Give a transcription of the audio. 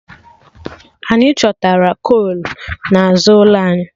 Anyị chọtara kol n'azụ ụlọ anyị